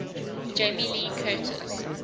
jamie lee curtis